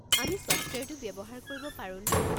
আমি ছফ্টৱেৰটো ব্যৱহাৰ কৰিব পাৰোনে?